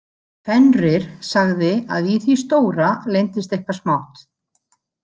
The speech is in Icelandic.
Fenrir sagði að í því stóra leyndist eitthvað smátt.